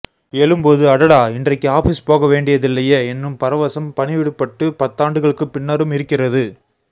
எழும்போது அடாடா இன்றைக்கு ஆபிஸ் போகவேண்டியதில்லையே என்னும் பரவசம் பணிவிடுபட்டு பத்தாண்டுகளுக்குப்பின்னரும் இருக்கிறது